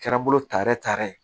Kɛra n bolo taara ye